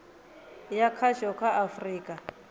ya khasho kha a afurika